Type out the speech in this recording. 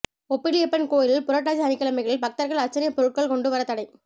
ஒப்பிலியப்பன் கோயிலில் புரட்டாசி சனிக்கிழமைகளில் பக்தா்கள் அா்ச்சனை பொருள்கள் கொண்டு வர தடை